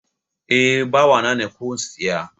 Eh, bawa na ne, ku siya